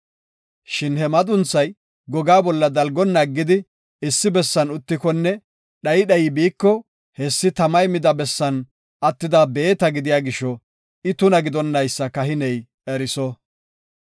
Shin he madunthay gogaa bolla dalgonna aggidi issi bessan uttikonne dhayi dhayi biiko, hessi tamay mida bessan attida beeta gidiya gisho, I tuna gidonaysa kahiney eriso.